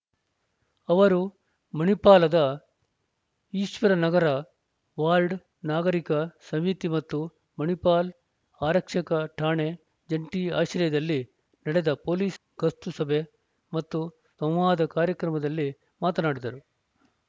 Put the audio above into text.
ಅವರು ಮಣಿಪಾಲದ ಈಶ್ವರ ನಗರ ವಾರ್ಡ್ ನಾಗರೀಕ ಸಮಿತಿ ಮತ್ತು ಮಣಿಪಾಲ್ ಆರಕ್ಷಕ ಠಾಣೆ ಜಂಟಿ ಆಶ್ರಯದಲ್ಲಿ ನಡೆದ ಪೊಲೀಸ್ ಗಸ್ತು ಸಭೆ ಮತ್ತು ಸಂವಾದ ಕಾರ್ಯಕ್ರಮದಲ್ಲಿ ಮಾತನಾಡಿದರು